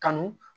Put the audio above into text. Kanu